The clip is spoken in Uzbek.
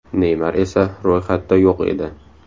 Neymar esa ro‘yxatda yo‘q edi.